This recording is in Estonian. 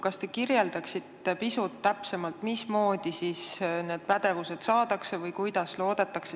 Kas te kirjeldaksite pisut täpsemalt, mismoodi see pädevus praegu saadakse?